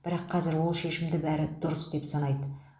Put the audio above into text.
бірақ қазір ол шешімді бәрі дұрыс деп санайды